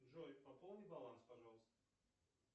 джой пополни баланс пожалуйста